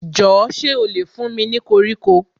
Jọ̀ọ́ ṣé ó lè fún mi ní koríko